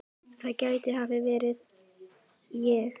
það gæti hafa verið ég